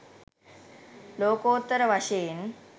ලෝකෝත්තර වශයෙන්